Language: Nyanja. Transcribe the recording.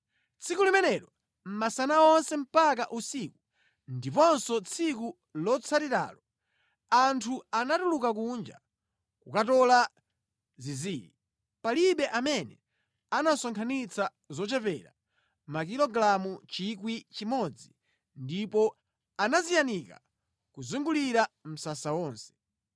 Tsiku limenelo masana onse mpaka usiku ndiponso tsiku lotsatiralo, anthu anatuluka kunja kukatola zinziri. Palibe amene anasonkhanitsa zochepera makilogalamu 1,000 ndipo anaziyanika kuzungulira msasa wonse.